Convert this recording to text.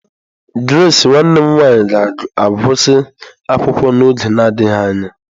Grace nwanne m nwanyị ga-agụsị akwụkwọ n'oge adịghị anya.